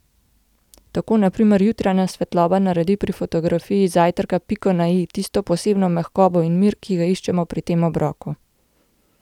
Tako na primer jutranja svetloba naredi pri fotografiji zajtrka piko na i, tisto posebno mehkobo in mir, ki ga iščemo pri tem obroku.